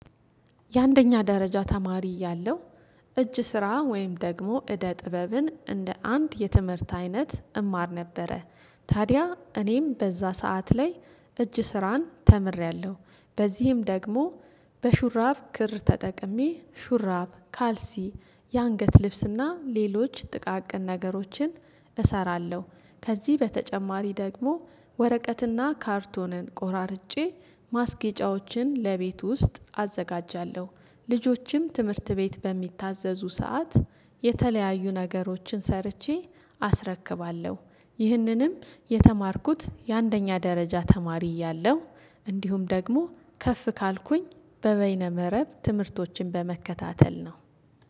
የአንደኛ ደረጃ ተማሪ እያለው እጅ ስራ ወይም ደግሞ እደ ጥበብን እንደ አንድ የትምህርት አይነት እማር ነበረ። ታዲያ እኔም በዛ ሰዓት ላይ እጅ ስራን ተምሬያለሁ። በዚህም ደግሞ በሹራብ ክር ተጠቅሜ ሹራብ ካልሲ የአንገት ልብስና ሌሎች ጥቃቅን ነገሮችን እሰራለሁ። ከዚህ በተጨማሪ ደግሞ ወረቀትና ካርቶንን ቆራርጬ ማስገጫዎችን ለቤት ውስጥ አዘጋጃለሁ። ልጆችም ትምህርት ቤት በሚታዘዙ ሰዓት የተለያዩ ነገሮችን ሰርቼ አስረክባለሁ ይህንንም የተማርኩት የአንደኛ ደረጃ ተማሪ እያለሁ። እንዲሁም ደግሞ ከፍ ካልኩኝ በበይነ መረብ ትምህርቶችን በመከታተል ነው